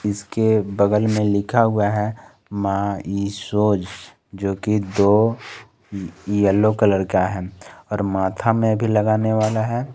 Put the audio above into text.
इस के बगल में लिखा हुआ है माईशोज जो कि दो येलो कलर का है और माथा में भी लगाने वाला है।